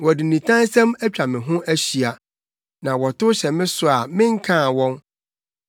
Wɔde nitansɛm atwa me ho ahyia na wɔtow hyɛ me so a menkaa wɔn.